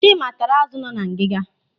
Chima taara azụ nọ na ngiga.